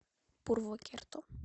пурвокерто